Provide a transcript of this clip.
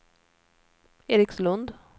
Erikslund